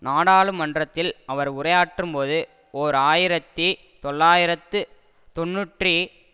நாடாளுமன்றத்தில் அவர் உரையாற்றும்போது ஓர் ஆயிரத்தி தொள்ளாயிரத்து தொன்னூற்றி